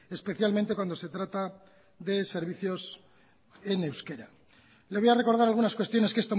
especialmente cuando se trata de servicios en euskera le voy a recordar algunas cuestiones que